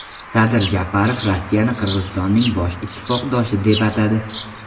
Sadir Japarov Rossiyani Qirg‘izistonning bosh ittifoqdoshi deb atadi.